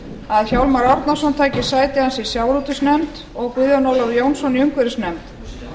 að hjálmar árnason taki sæti hans í sjávarútvegsnefnd og guðjón ólafur jónsson í umhverfisnefnd